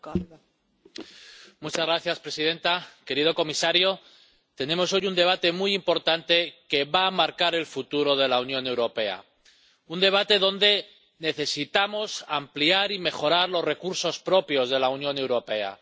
Señora presidenta, querido comisario, tenemos hoy un debate muy importante que va a marcar el futuro de la Unión Europea, porque necesitamos ampliar y mejorar los recursos propios de la Unión Europea.